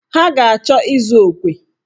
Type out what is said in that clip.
Ha ga-achọ ịzụ okwe.